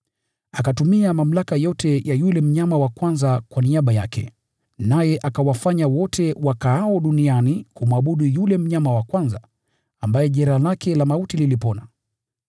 Akatumia mamlaka yote ya yule mnyama wa kwanza kwa niaba yake, naye akawafanya wote wakaao duniani kumwabudu yule mnyama wa kwanza, ambaye jeraha lake la mauti lilipona.